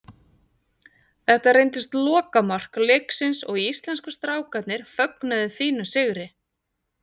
Þetta reyndist lokamark leiksins og íslensku strákarnir fögnuðu fínum sigri.